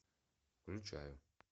включаю